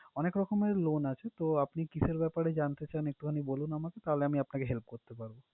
অনেক রকমের loan আছে, তো আপনি কিসের ব্যাপারে জানতে চান একটুখানি বলুন আমাকে। তাহলে আমি আপনাকে help করতে পারবো।